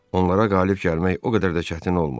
Onlara qalib gəlmək o qədər də çətin olmadı.